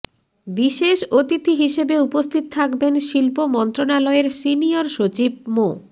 বিশেষ অতিথি হিসেবে উপস্থিত থাকবেন শিল্প মন্ত্রণালয়ের সনিয়ির সচিব মো